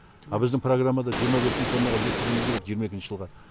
а біздің программада жиырма бес мың тоннаға жеткізуіміз керек жиырма екінші жылға